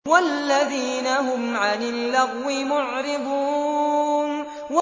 وَالَّذِينَ هُمْ عَنِ اللَّغْوِ مُعْرِضُونَ